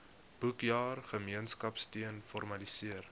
boekjaar gemeenskapsteun formaliseer